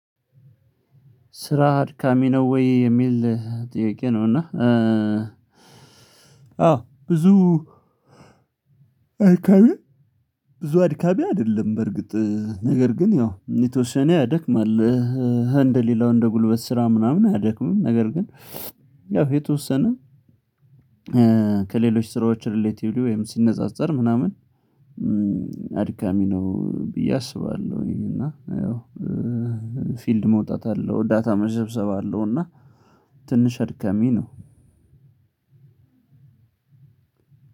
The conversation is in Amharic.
ስራ አድካሚ ነው ወይ? የሚል ጥያቄ ነው እና አዎ ብዙ አድካሚ ብዙ አድካሚ አይደለም በርግጥ ነገር ግን ያው የተወሰነ ያደክማል እንደ ሌላው እንደ ጉልበት ስራ ምናምን አያደክምም ነገር ግን ያው የተወሰነ ከሌሎች ስራዎች ሪሌቲቭሊ ወይም ሲነጻጸር ምናምን አድካሚ ነው ብዬ አስባለሁ እና ያው ፊልድ መውጣት አለው ዳታ መሰብሰብ አለው እና ትንሽ አድካሚ ነው